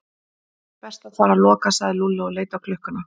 Best að fara að loka sagði Lúlli og leit á klukkuna.